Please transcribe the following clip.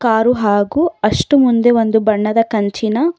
car ಹಾಗು ಅಷ್ಟು ಮುಂದೆ ಒಂದು ಬಣ್ಣದ ಕಂಚಿನ--